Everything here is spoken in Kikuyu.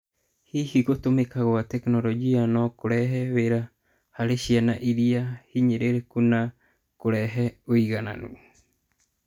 Hihi gũtũmĩka gwa tekinoronjĩ no kũrute wĩra harĩ ciana ĩrĩa hinyĩrĩrĩku na na kũrehe ũigananu?